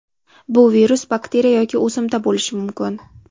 Bu virus, bakteriya yoki o‘simta bo‘lishi mumkin.